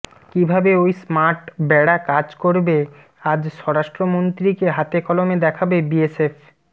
কীভাবে ওই স্মার্ট বেড়া কাজ করবে আজ স্বরাষ্ট্রমন্ত্রীকে হাতকলমে দেখাবে বিএসএফ